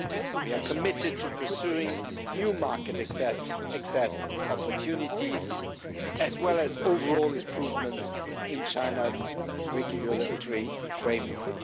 We are committed to pursuing new market access opportunities, as well as overall improvements in China's regulatory framework.